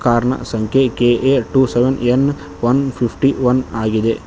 Car ನ ಸಂಖ್ಯೆ K A two seven N one fifty one ಆಗಿದೆ.